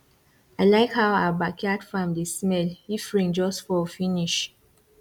i like how our backyard farm dey smell if rain just fall finish